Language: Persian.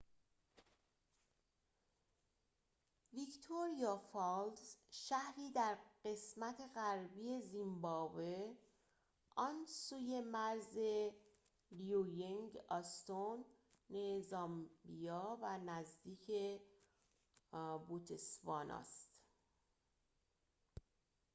ویکتوریا فالز شهری در قسمت غربی زیمبابوه آن سوی مرز لیوینگ‌استون زامبیا و نزدیک بوتسوانا است